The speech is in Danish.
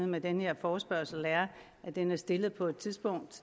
med denne forespørgsel er at den er stillet på et tidspunkt